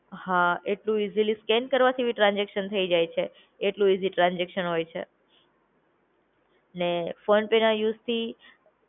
હા એટલું easily scan કરવાથી પણ ટ્રાન્સઝેકશન થઇ જાય છે. એટલું ઇઝી ટ્રાન્સઝેકશન હોય છે. ને ફોનપેના યુઝથી